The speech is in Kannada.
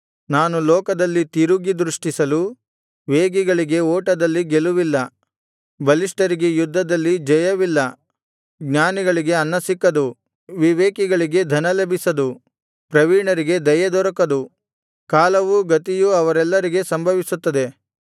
ನಾನು ಲೋಕದಲ್ಲಿ ತಿರುಗಿ ದೃಷ್ಟಿಸಲು ವೇಗಿಗಳಿಗೆ ಓಟದಲ್ಲಿ ಗೆಲುವಿಲ್ಲ ಬಲಿಷ್ಠರಿಗೆ ಯುದ್ಧದಲ್ಲಿ ಜಯವಿಲ್ಲ ಜ್ಞಾನಿಗಳಿಗೆ ಅನ್ನ ಸಿಕ್ಕದು ವಿವೇಕಿಗಳಿಗೆ ಧನ ಲಭಿಸದು ಪ್ರವೀಣರಿಗೆ ದಯೆ ದೊರಕದು ಕಾಲವೂ ಗತಿಯೂ ಅವರೆಲ್ಲರಿಗೆ ಸಂಭವಿಸುತ್ತದೆ